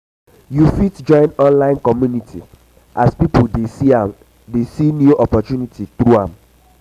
yu fit join online community as pipo dey see um new opportunity through am